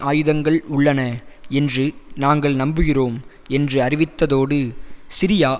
ஆயுதங்கள் உள்ளன என்று நாங்கள் நம்புகிறோம் என்று அறிவித்ததோடு சிரியா